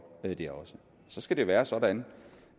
det også så skal det være sådan